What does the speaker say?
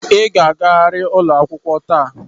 Ị ga-agarịrị ụlọ akwụkwọ taa!